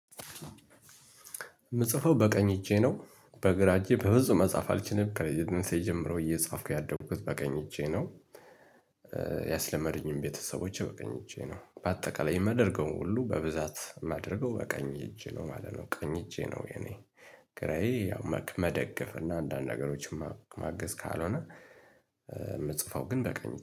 የምጽፈው በቀኝ እጄ ነው በግራ እጄ በብዙ መጻፍ አልችልም ከልጅነቴ ጀምሮ እየጻፍኩ ያደጉት በቀኝ እጄ ነው። ያስለመዱኝም ቤተሰቦቼ በቀኝ እጄ ነው በአጠቃላይ የማደርገውን ሁሉ በብዛት የማደርገው በቀኝ እጄ ነው ማለት ነው። ቀኝ እጄ ነው የኔ ግራዬ ያው መደገፍ እና አንዳንድ ነገሮችን ማገዝ ካልሆነ የምጽፈው ግን በቀኝ